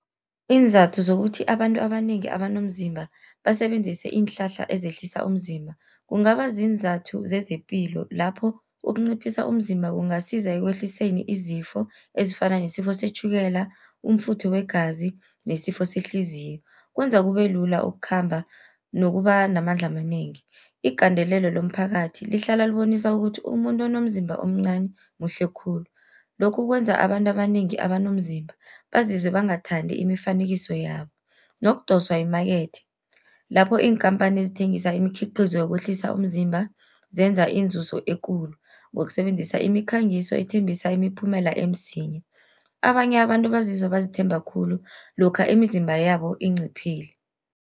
Iinzathu zokuthi abantu abanengi abanomzimba basebenzise iinhlahla ezehlisa umzimba. Kungaba ziinzathu zezepilo, lapho ukunciphisa umzimba kungasiza ekwehliseni izifo ezifana nesifo setjhukela, umfutho wegazi nesifo sehliziyo. Kwenza kube lula ukukhamba nokuba namandla amanengi. Igandelelo lomphakathi lihlala libonisa ukuthi umuntu onomzimba omncani muhle khulu, lokhu kwenza abantu abanengi abanomzimba bazizwe bangathandi imifanekiso yabo. Nokudoswa yimakethi, lapho iinkhamphani ezithengisa imikhiqizo yokwehlisa umzimba zenza inzuzo ekulu, ngokusebenzisa imikhangiso ethembisa imiphumela emsinya. Abanye abantu bazizwa bazithemba khulu, lokha imizimba yabo inciphile.